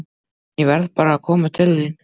En ég varð bara að koma til þín.